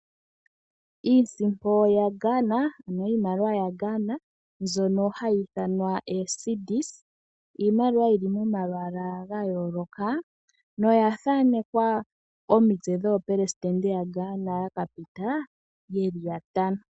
Iisimpo yaGhana ano iimaliwa yaGhana mbyono hayi ithanwa eecedis, iimaliwa yili momalwaala ga yooloka noya thanekwa omitse dhoopelesidente yaGhana yaka pita ye li yantano.